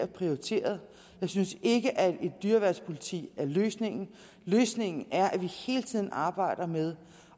prioriteret jeg synes ikke at et dyreværnspoliti er løsningen løsningen er at vi hele tiden arbejder med